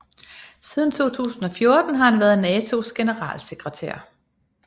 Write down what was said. Siden 2014 har han været Natos generalsekretær